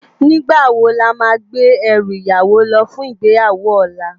Nigbá wó lámá gbé èrú iyàwó lò fún igbéyáwó òlá?